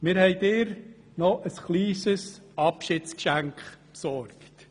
Wir haben dir noch ein kleines Abschiedsgeschenk besorgt.